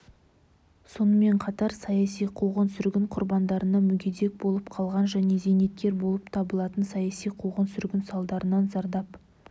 сонымен қатар саяси қуғын-сүргін құрбандарына мүгедек болып қалған және зейнеткер болып табылатын саяси қуғын-сүргін салдарынан зардап